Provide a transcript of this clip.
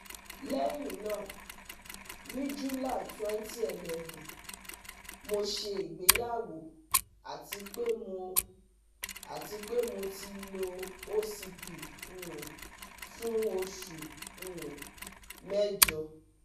Lẹhinna, ni July twenty eleven ,mo se igbeyawo ati pe mo ati pe mo ti lo OCP um fun osu um mẹjọ